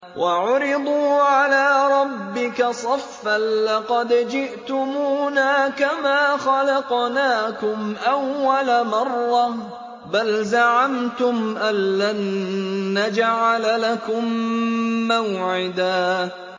وَعُرِضُوا عَلَىٰ رَبِّكَ صَفًّا لَّقَدْ جِئْتُمُونَا كَمَا خَلَقْنَاكُمْ أَوَّلَ مَرَّةٍ ۚ بَلْ زَعَمْتُمْ أَلَّن نَّجْعَلَ لَكُم مَّوْعِدًا